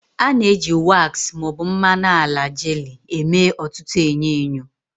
A na-eji waks ma ọ bụ mmanụ ala jelii eme ọtụtụ enyo enyo.